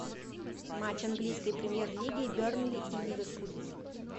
матч английской премьер лиги бернли и ливерпуль